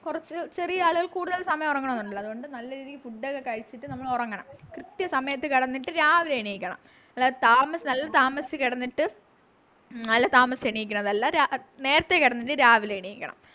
കുറച്ചു ചെറിയ ആളുകൾ കൂടുതൽ സമയം ഉറങ്ങണം ന്നുണ്ടല്ലോ അതുകൊണ്ട് നല്ല രീതിക്ക് food ഒക്കെ കഴിച്ചിട്ടു നമ്മൾ ഉറങ്ങണം കൃത്യസമയത്ത് കിടന്നിട്ട് രാവിലെ എണീക്കണം അല്ലാണ്ട് താമ നല്ല താമസിച്ച് കിടന്നിട്ട് നല്ല താമസിച്ചു എണീക്കണം എന്നല്ല രാ നേരത്തെ കിടന്നിട്ട് രാവിലെ എണീക്കണം